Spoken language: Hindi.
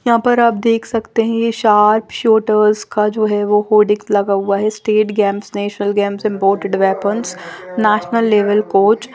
यहां पर आप देख सकते हैं का‌ है जो होर्डिंग लगा हुआ है स्टेट गेम्स नेशनल गेम्स जो नेशनल लेवल कोच --